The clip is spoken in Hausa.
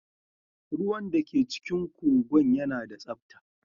Ruwan da ke cikin kogin yana da tsabta.